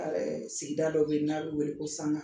Sigida dɔ bɛ yen n'a wele ko Sanga